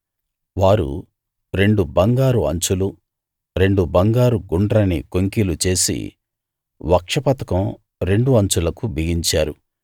వారు రెండు బంగారు అంచులు రెండు బంగారు గుండ్రని కొంకీలు చేసి వక్షపతకం రెండు అంచులకు బిగించారు